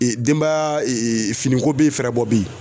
denbaya fini ko be ye fɛɛrɛbɔ be ye.